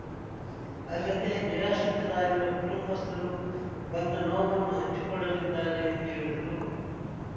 ಅಲ್ಲದೆ ನಿರಾಶ್ರಿತರಾಗಿರುವ ಕುಟುಂಬಸ್ಥರು ಬಂದ ನೋವನ್ನು ಹಂಚಿಕೊಳ್ಳಲಿದ್ದಾರೆ ಎಂದು ಹೇಳಿದರು